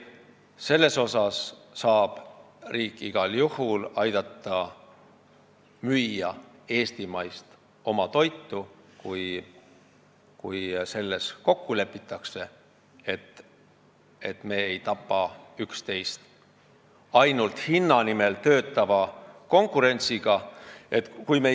Riik saab igal juhul aidata müüa eestimaist toitu, kui lepitakse kokku selles, et me ei tapa üksteist ainult hinna nimel töötava konkurentsiga.